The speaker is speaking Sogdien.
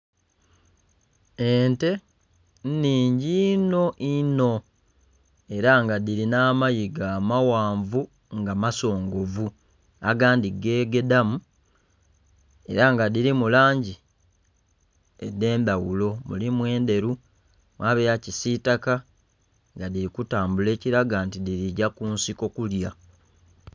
Ente nhingi inho inho era nga dhiri n'amayigo amaghanvu nga masongovu agandhi gegedhamu era nga dhirimu langi edhendhaghulo mulimu endheru,,mwaba eyakisitaka nga dhirikutambula ekiraga nti dhirigya kunsiko kulya.